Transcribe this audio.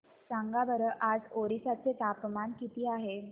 सांगा बरं आज ओरिसा चे तापमान किती आहे